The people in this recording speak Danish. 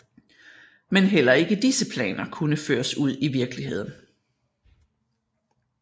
Men heller ikke disse planer kunne føres ud i virkeligheden